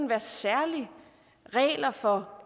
være særlige regler for